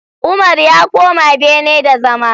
Umar ya koma bene da zama!